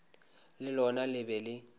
le lona le be le